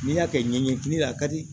N'i y'a kɛ ɲɛɲini a ka di